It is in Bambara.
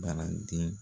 Baaraden